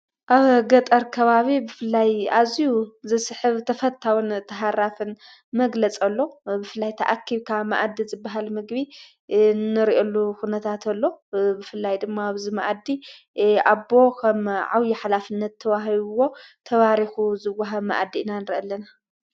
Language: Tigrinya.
ኣብ ገጠር ከባቢ ብፍላይ ኣዙዩ ዘስሕብ ተፈታዉን ተሃራፍን መግለጸሎ ብፍላይ ተኣኪብካ መእዲ ዘበሃል ምግቢ ንርየሉ ዂነታት ኣሎ ብፍላይ ድማ ብዘመእዲ ኣቦ ኸም ዓውዪ ኃላፍነት ተዉሂይዎ ተባሪኹ ዝወሃብ መእዲ ኢና ንርኢ አለና።